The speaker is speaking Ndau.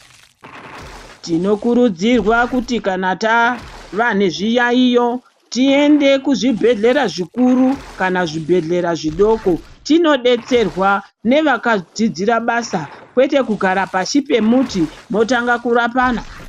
Tinokurudzirwa kuti kana tava nezviyaiyo tiende kuzvibhedhlera zvikuru kana zvibhedhlera zvidoko tinodetserwa nevakadzidzira basa kwete kugara pashi pemuti motanga kurapana.